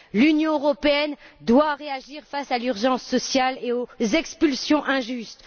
L'Union européenne doit réagir face à l'urgence sociale et aux expulsions injustes.